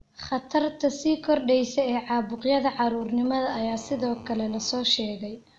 Khatarta sii kordheysa ee caabuqyada caruurnimada ayaa sidoo kale la soo sheegay.